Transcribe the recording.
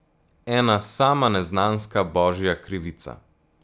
Ena sama neznanska, božja krivica.